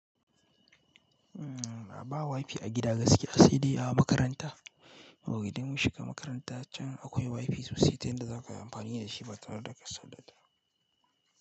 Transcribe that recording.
Ama wifi a gida gaskiya sai dai a makaranta. Idan mun shiga makarantar can akwai wifi sosai, tayan da za ka yi amfani da shi ba kamar da kasadada.